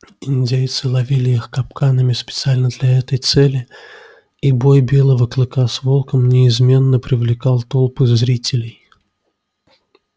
индейцы ловили их капканами специально для этой цели и бой белого клыка с волком неизменно привлекал толпы зрителей